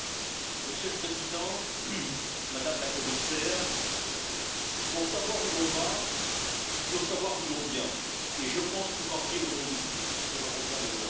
Monsieur le Président, Madame la Commissaire, pour savoir où l'on va, il faut savoir d'où l'on vient, et je pense pouvoir dire au nom de tous que l'on revient de loin.